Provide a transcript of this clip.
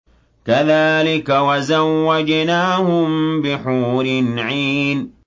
كَذَٰلِكَ وَزَوَّجْنَاهُم بِحُورٍ عِينٍ